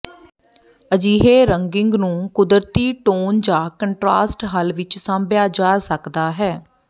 ਅਜਿਹੇ ਰੰਗਿੰਗ ਨੂੰ ਕੁਦਰਤੀ ਟੋਨ ਜਾਂ ਕੰਟ੍ਰਾਸਟ ਹੱਲ ਵਿੱਚ ਸਾਂਭਿਆ ਜਾ ਸਕਦਾ ਹੈ